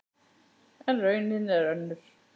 En raunin er önnur.